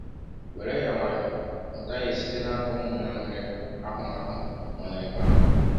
“ Were ya nwayọọ; mụta ihe site n’aka ụmụnna nwere ahụmahụ nọ n’ebe ahụ.